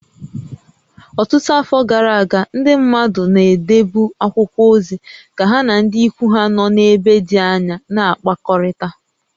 Ọtụtụ afọ gara aga, ndị mmadụ na-edebu akwụkwọ ozi ka ha na ndị ikwu ha nọ n'ebe dị anya na-akpakọrịta